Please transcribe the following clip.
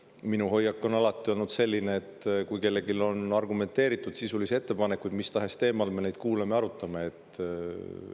] Minu hoiak on alati olnud selline, et kui kellelgi on argumenteeritud sisulisi ettepanekuid mis tahes teemal, siis me neid kuulame ja arutame.